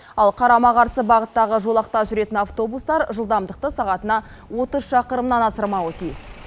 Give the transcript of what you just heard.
ал қарама қарсы бағыттағы жолақта жүретін автобустар жылдамдықты сағатына отыз шақырымнан асырмауы тиіс